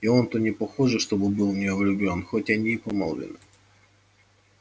и он-то непохоже чтобы был в неё влюблён хоть они и помолвлены